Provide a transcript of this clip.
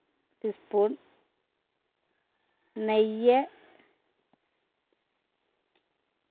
spoon നെയ്യ്